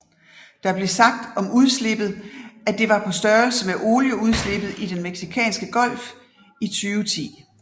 Der blev sagt om udslippet at det var på størrelse med olieudslippet i den Mexicanske Golf 2010